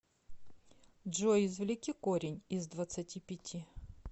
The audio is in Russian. джой извлеки корень из двадцати пяти